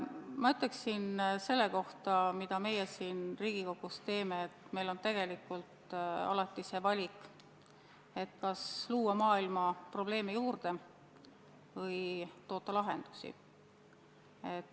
Ma ütleksin selle kohta, mida meie siin Riigikogus teeme, et meil on tegelikult alati see valik, kas luua maailma probleeme juurde või toota lahendusi.